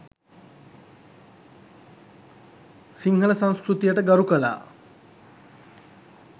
සිංහල සංස්කෘතියට ගරුකළා.